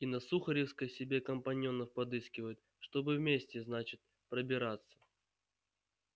и на сухаревской себе компаньонов подыскивают чтобы вместе значит пробираться